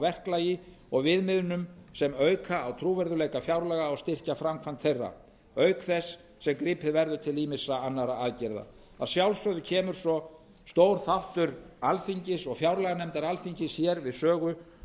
verklagi og viðmiðunum sem auka á trúverðugleika fjárlaga og styrkja framkvæmd þeirra auk þess sem gripið verður til ýmissa annarra aðgerða að sjálfsögðu kemur svo stór aftur alþingis og fjárlaganefndar alþingis hér við sögu